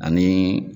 Ani